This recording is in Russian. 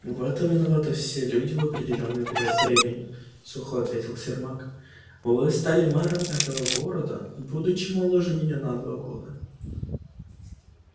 в этом виноваты все люди в определённый период времени сухо ответил сермак вы стали мэром этого города будучи моложе меня на два года